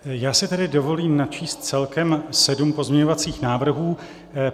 Já si tedy dovolím načíst celkem sedm pozměňovacích návrhů.